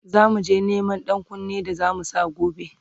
zamuje Neman ɗankunne da zamu Sa gobe